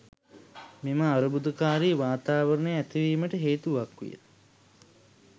මෙම අර්බුදකාරී වාතාවරණය ඇතිවීමට හේතුවක් විය.